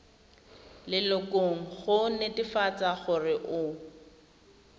lelokong go netefatsa gore o